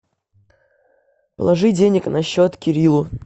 положи денег на счет кириллу